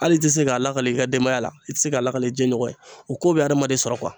Hali i tɛ se k'a lakale i ka denbaya la i tɛ se k'a lakale i jɛnɲɔgɔn ye o ko bɛ hadamaden sɔrɔ